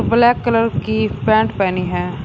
Black colour की pant पेहनी है।